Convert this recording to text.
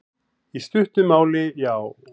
Í stuttu máli, já.